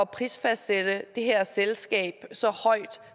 prisfastsætte det her selskab så højt